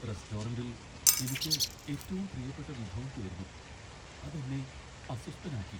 റെസ്റ്റോറന്റിൽ എനിക്ക് ഏറ്റവും പ്രിയപ്പെട്ട വിഭവം തീർന്നു, അത് എന്നെ അസ്വസ്ഥനാക്കി.